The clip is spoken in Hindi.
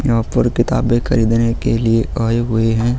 यहाँ पर किताबे खरीदने के लिए आये हुए हैं।